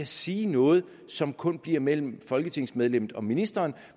sige noget som kun bliver mellem folketingsmedlemmet og ministeren